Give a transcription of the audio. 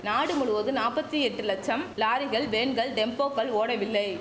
நாடு முழுவது நாப்பத்தி எட்டு லச்சம் லாரிகள் வேன்கள் டெம்போக்கள் ஓடவில்லை